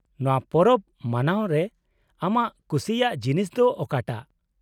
-ᱱᱚᱶᱟ ᱯᱚᱨᱚᱵ ᱢᱟᱱᱟᱣ ᱨᱮ ᱟᱢᱟᱜ ᱠᱩᱥᱤᱭᱟᱜ ᱡᱤᱱᱤᱥ ᱫᱚ ᱚᱠᱟᱴᱟᱜ ?